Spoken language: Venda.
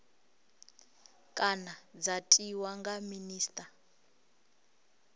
kana dza tiwa nga minista